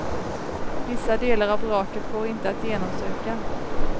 Vissa delar av vraket går inte att genomsöka.